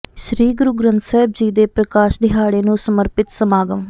ਸ੍ਰੀ ਗੁਰੂ ਗ੍ਰੰਥ ਸਾਹਿਬ ਜੀ ਦੇ ਪ੍ਰਕਾਸ਼ ਦਿਹਾੜੇ ਨੂੰ ਸਮਰਪਿਤ ਸਮਾਗਮ